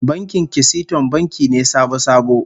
Bankin Kisiton banki ne sabo-sabo